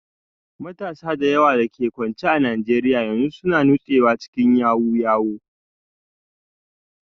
Matasa da yawa da ke kwance a Najeriya yanzu suna nutsewa cikin yahoo yahoo